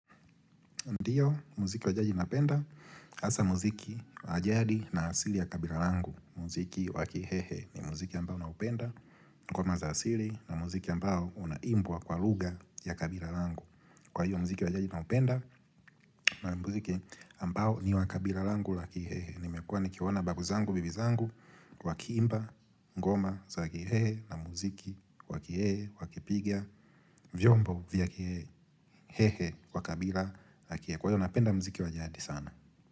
Ndio, muziki wa jaji napenda, hasa mziki wa jadi na asili ya kabila langu, muziki wa kihehe ni muziki ambao naupenda, ngoma za asili na muziki ambao unaimbwa kwa lugha ya kabila langu. Kwa hiyo, muziki wa jaji naupenda na muziki ambao ni wa kabila langu la kihehe. Nimekuwa nikiona babu zangu bibi zangu, wakiimba, ngoma za kihehe na muziki wakihehe, wakipiga, vyombo vya kihehe, hehe, wa kabila la kihehe. Kwa hivyo napenda mziki wa jadi sana.